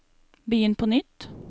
begynn på nytt